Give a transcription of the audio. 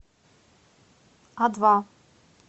адва